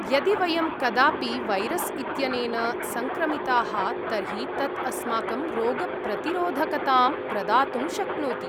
यदि वयं कदापि वैरस् इत्यनेन सङ्क्रमिताः तर्हि तत् अस्माकं रोगप्रतिरोधकताम् प्रदातुं शक्नोति।